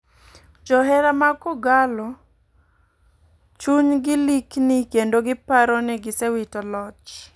Johera mag kogallo chuny ni likni kendo giparo ni gisewito loch .